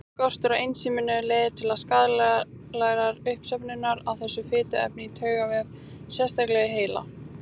Skortur á ensíminu leiðir til skaðlegrar uppsöfnunar á þessu fituefni í taugavef, sérstaklega í heila.